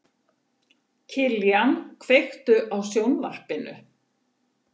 Kiljan, kveiktu á sjónvarpinu.